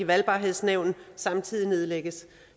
valgbarhedsnævnet samtidig nedlægges